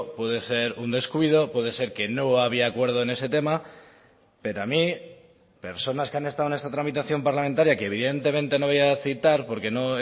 puede ser un descuido puede ser que no había acuerdo en ese tema pero a mí personas que han estado en esta tramitación parlamentaria que evidentemente no voy a citar porque no